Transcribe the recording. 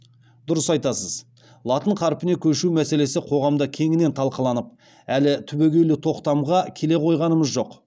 дұрыс айтасыз латын қарпіне көшу мәселесі қоғамда кеңінен талқыланып әлі түбегейлі тоқтамға келе қойғанымыз жоқ